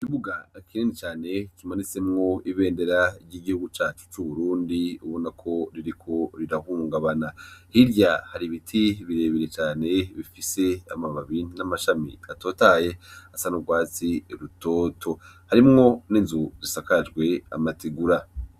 Ikibuga kinini cane kimanitsemwo ibendera ryigihugu cacu curubundi ubonako ririko rirahungabana hirya hari ibiti birebire cane bifise amababi namashami atotahaye asanurwatsi rutoto harimwo ninzu zisakajwe amategura